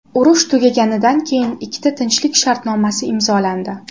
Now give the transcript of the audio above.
Urush tugaganidan keyin ikkita tinchlik shartnomasi imzolandi.